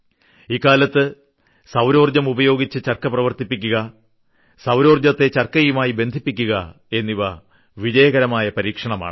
ഇക്കാലത്ത് സൌരോർജ്ജം ഉപയോഗിച്ച് ചർക്ക പ്രവർക്കിപ്പിക്കുക സൌരോർജ്ജത്തെ ചർക്കയുമായി ബന്ധിപ്പിക്കുക എന്നിവ വിജയകരമായ പരീക്ഷണമാണ്